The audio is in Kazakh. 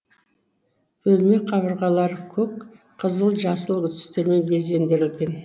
бөлме қабырғалары көк қызыл жасыл түстермен безендірілген